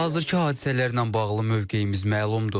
Hazırkı hadisələrlə bağlı mövqeyimiz məlumdur.